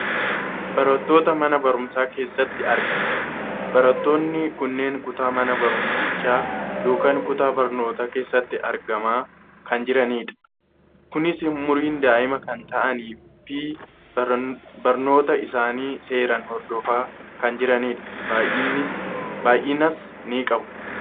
barattoota mana barumsa keessatti argaman. barattoonni kunneen kutaa mana barumsichaa yookaan kutaa barnootaa keessatti argamaa kan jiranidha. kunis umiriin daa'ima kan ta'anii fi barnoota isaanii seeraan hordofaa kan jiranidha. baayyinas ni qabu.